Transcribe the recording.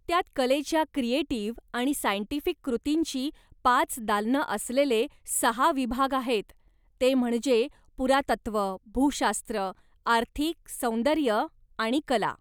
त्यात कलेच्या क्रिएटीव्ह आणि सायन्टिफिक कृतींची पाच दालनं असलेले सहा विभाग आहेत, ते म्हणजे पुरातत्त्व, भूशास्त्र, आर्थिक, सौंदर्य आणि कला.